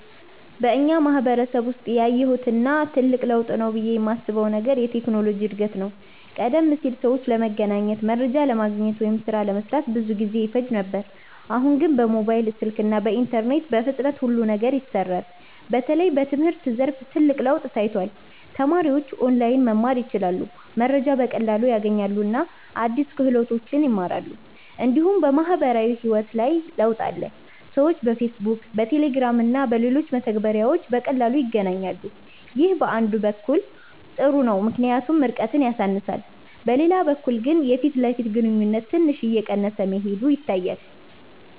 በእኛ ማህበረሰብ ውስጥ ያየሁት እና ትልቅ ለውጥ ነው ብዬ የማስበው ነገር የቴክኖሎጂ እድገት ነው። ቀደም ሲል ሰዎች ለመገናኘት፣ መረጃ ለማግኘት ወይም ሥራ ለመስራት ብዙ ጊዜ ይፈጅ ነበር። አሁን ግን በሞባይል ስልክ እና በኢንተርኔት በፍጥነት ሁሉ ነገር ይሰራል። በተለይ በትምህርት ዘርፍ ትልቅ ለውጥ ታይቷል። ተማሪዎች ኦንላይን መማር ይችላሉ፣ መረጃ በቀላሉ ያገኛሉ እና አዲስ ክህሎቶችን ይማራሉ። እንዲሁም በማህበራዊ ህይወት ላይ ለውጥ አለ። ሰዎች በፌስቡክ፣ በቴሌግራም እና በሌሎች መተግበሪያዎች በቀላሉ ይገናኛሉ። ይህ አንድ በኩል ጥሩ ነው ምክንያቱም ርቀትን ያሳንሳል፤ በሌላ በኩል ግን የፊት ለፊት ግንኙነት ትንሽ እየቀነሰ መሄዱ ይታያል።